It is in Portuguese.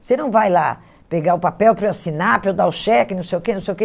Você não vai lá pegar o papel para eu assinar, para eu dar o cheque, não sei o quê, não sei o quê.